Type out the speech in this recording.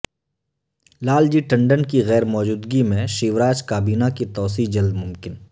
لال جی ٹنڈن کی غیرموجودگی میں شیوراج کابینہ کی توسیع جلدممکن